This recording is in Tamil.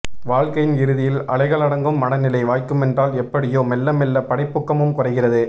வாழ்க்கையின் இறுதியில் அலைகளடங்கும் மனநிலை வாய்க்குமென்றால் எப்படியோ மெல்லமெல்ல படைப்பூக்கமும் குறைகிறது